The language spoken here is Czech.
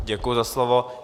Děkuji za slovo.